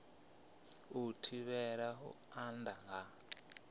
u thivhela u anda ha